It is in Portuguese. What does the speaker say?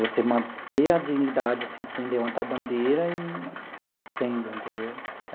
você manter a dignidade, assim, sem levantar bandeira e sendo, entendeu?